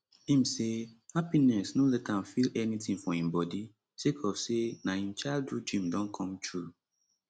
im say happiness no let am feel anytin for im body sake of say na im childhood dream don come true